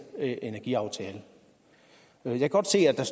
energiaftale jeg kan godt se at der